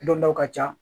Dɔn dɔw ka ca